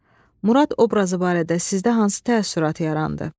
Murad obrazı barədə sizdə hansı təəssürat yarandı?